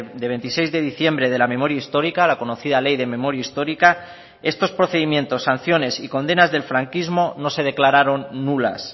de veintiséis de diciembre de la memoria histórica la conocida ley de memoria histórica estos procedimientos sanciones y condenas del franquismo no se declararon nulas